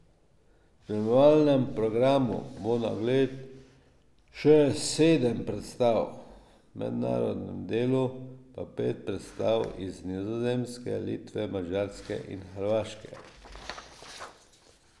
V spremljevalnem programu bo na ogled še sedem predstav, v mednarodnem delu pa pet predstav iz Nizozemske, Litve, Madžarske in Hrvaške.